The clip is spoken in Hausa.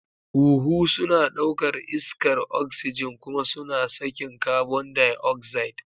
Huhu suna ɗaukar iskar oxygen kuma suna sakin carbon dioxide.